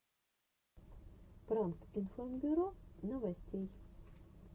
пранк информбюро новостей